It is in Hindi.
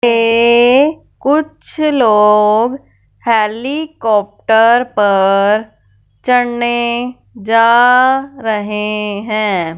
ये कुछ लोग हेलीकॉप्टर पर चढ़ने जा रहे हैं।